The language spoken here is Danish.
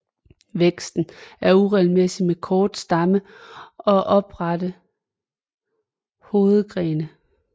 Væksten er uregelmæssig med kort stamme og oprette hovedgrene